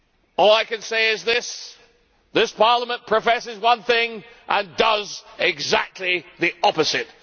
All I can say is this this Parliament professes one thing and does exactly the opposite.